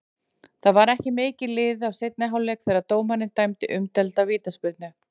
Það var ekki mikið liðið af seinni hálfleik þegar dómarinn dæmdi umdeilda vítaspyrnu.